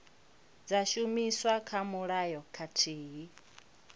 dza shumiswa kha mulayo khathihi